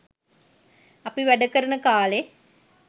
අපි වැඩ කරන කා‍ලේ